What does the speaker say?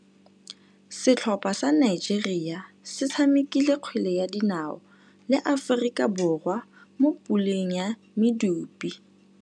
Setlhopha sa Nigeria se tshamekile kgwele ya dinaô le Aforika Borwa mo puleng ya medupe.